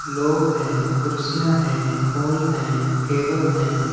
लोग है कुर्सियां है हाल है टेबल हैं।